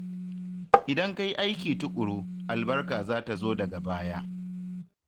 Idan ka yi aiki tuƙuru, albarka za ta zo daga baya.